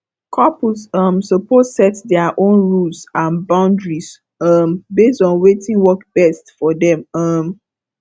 couples um suppose set dia own rules and boundaries um base on wetin work best for dem um